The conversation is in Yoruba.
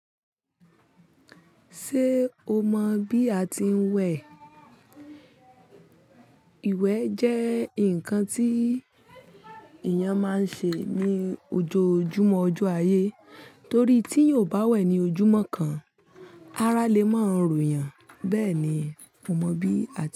Ṣé o mọ bí a ti ń wẹ̀? Iwẹ jẹ́ nǹkan tí èèyàn máa n ṣe ní ojoojúmọ́ ọjọ́ ayé torí tí yóò bá wẹ̀ ní ojúmọ́ kan, ará lè máa rù yàn. Bẹ́ẹ̀ ni, mo mọ bí a ti.